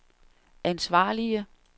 ansvarlige